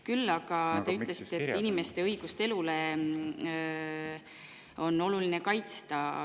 Küll aga te ütlesite, et inimeste õigust elule on oluline kaitsta.